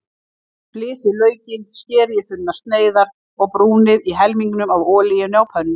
Flysjið laukinn, skerið í þunnar sneiðar og brúnið í helmingnum af olíunni á pönnu.